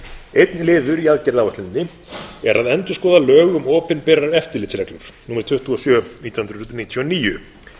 einn liður í aðgerðaáætluninni er að endurskoða lög um opinberar eftirlitsreglur númer tuttugu og sjö nítján hundruð níutíu og níu